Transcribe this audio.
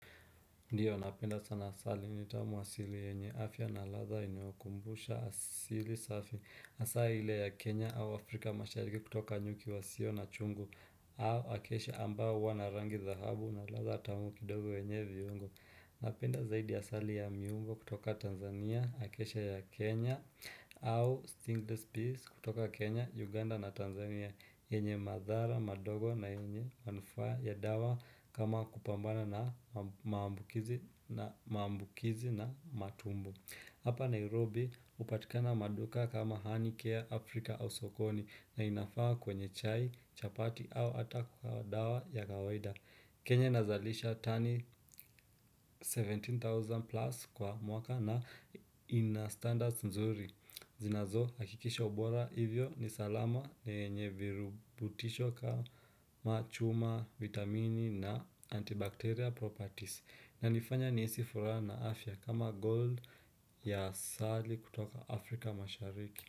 Ndio napenda sana asali ni tamu asili yenye afya na ladha inayokumbusha asili safi hasa ile ya Kenya au Afrika mashariki kutoka nyuki wa sio na chungu au acaciaambao wana rangi dhahabu na ladha tamu kidogo yenye viungo. Napenda zaidi asali ya miungo kutoka Tanzania, Acacia ya Kenya au Stingless Peace kutoka Kenya, Uganda na Tanzania, yenye madhara, madogo na yenye manufaa ya dawa kama kupambana na maambukizi na matumbo. Hapa Nairobi hupatikana maduka kama honey care Afrika au sokoni na inafaa kwenye chai, chapati au ata kwa dawa ya kawaida. Kenya nazalisha tani 17,000 plus kwa mwaka na ina standards nzuri. Zinazohakikisha ubora hivyo ni salama, na yenye virubutisho kama chuma, vitamini na antibacteria properties. Na nifanya nihisi furaha na afya kama gold ya sari kutoka afrika mashariki.